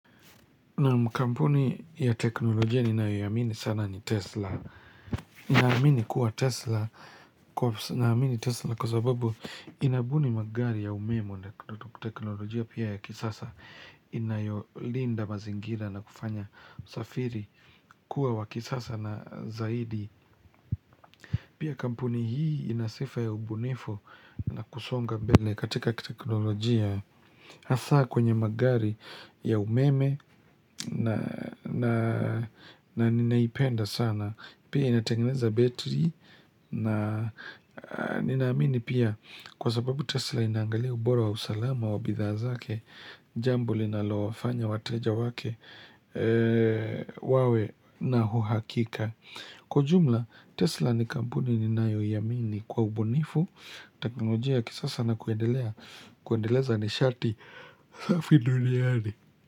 Naam kampuni ya teknolojia ninayoiamini sana ni Tesla naamini kuwa Tesla Kwa sababu inabuni magari ya umeme na teknolojia pia ya kisasa Inayolinda mazingira na kufanya usafiri kuwa wa kisasa na zaidi Pia kampuni hii inasifa ya ubunifu na kusonga mbele katika kiteknolojia Hasa kwenye magari ya umeme na ninaipenda sana pia inatengeneza betri na ninaamini pia kwa sababu Tesla inaangalia ubora wa usalama wa bidhaa zake jambo linalofanya wateja wake wawe na uhakika kwa jumla Tesla ni kamuuni ninayoiamini kwa ubunifu teknolojia ya kisasa na kuendelea kuendeleza nishati safi duniani.